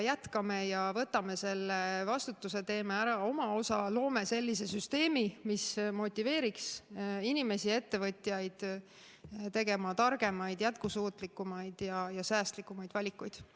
Jätkame ja võtame vastutuse, teeme ära oma osa, loome sellise süsteemi, mis motiveeriks inimesi ja ettevõtjaid tegema targemaid, jätkusuutlikumaid ja säästlikumaid valikuid.